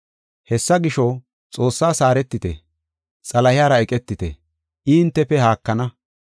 Hessa gisho, Xoossaas haaretite; Xalahiyara eqetite; I hintefe haakana.